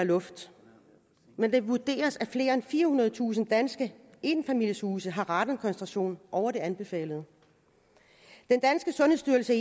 luft men det vurderes at flere end firehundredetusind danske enfamilieshuse har en radonkoncentration over det anbefalede den danske sundhedsstyrelse